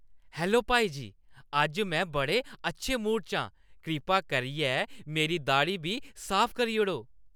Hello भाई जी। अज्ज में बड़े अच्छे मूड च आं। कृपा करियै मेरी दाड़ी बी साफ करी ओड़ो।